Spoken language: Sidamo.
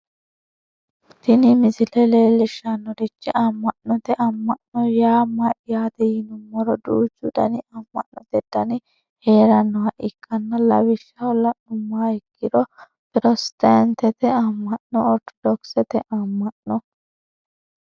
tini misile leellishshannorichi amma'note amma'no yaa mayyaate yinummoro duuchu dani amma'noote dani heerannoha ikkanna lawishshaho la'nummoha ikkiro pirotestaantete amma'no ortodokisete amma'no